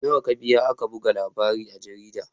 Nawa ka biya aka buga labarin a jarida?